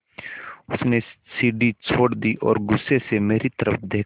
उसने सीढ़ी छोड़ दी और गुस्से से मेरी तरफ़ देखा